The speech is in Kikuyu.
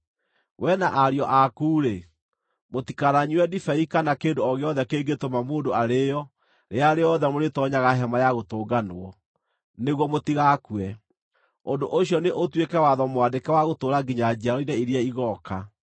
“Wee na ariũ aku-rĩ, mũtikananyue ndibei kana kĩndũ o gĩothe kĩngĩtũma mũndũ arĩĩo rĩrĩa rĩothe mũrĩtoonyaga Hema-ya-Gũtũnganwo, nĩguo mũtigakue. Ũndũ ũcio nĩ ũtuĩke watho mwandĩke wa gũtũũra nginya njiarwa-inĩ iria igooka.